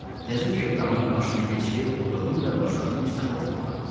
təzə kepkamı başıma keçirib oturdum və başladım kitabı oxumağa.